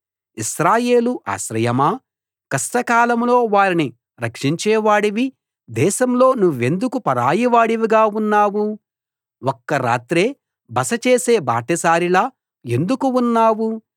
ఇశ్రాయేలు ఆశ్రయమా కష్టకాలంలో వారిని రక్షించేవాడివి దేశంలో నువ్వెందుకు పరాయివాడిగా ఉన్నావు ఒక్క రాత్రే బస చేసే బాటసారిలా ఎందుకు ఉన్నావు